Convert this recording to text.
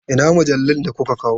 Ina mujallun da kuka kawo?